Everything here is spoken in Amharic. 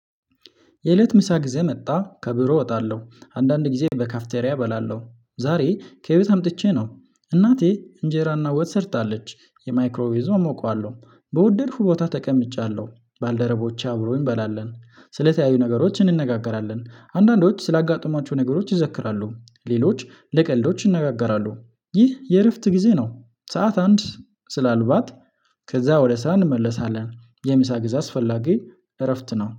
የእለት ምሳ ጊዜ መጣ ከቢሮ እወጣለሁ አንዳንድ ጊዜ በካፍቴሪያ እበላለሁ ዛሬ ከቤት አምጥቼ ነው። እናቴ እንጀራና ወጥ ሰርታለች የማይክሮ ይዞ እሞቃለሁ በወደድኩ ቦታ ተቀምጫለሁ። ባልደረቦቼ አብረውኝ እንበላለን ስለተለያዩ ነገሮች እንነጋገራለን አንዳንዶች ስላጋጠሟቸው ነገሮች ይዘክራሉ። ሌሎች ለቀልዶች ይነጋገራሉ። ይህ የእረፍት ጊዜ ነው። ሰዓት አንድ ስላልባት ከዛ ወደ ስራ እንመለሳለን። የሚሳ ግዝ አስፈላጊ እረፍት ነው